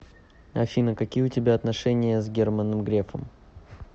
афина какие у тебя отношения с германом грефом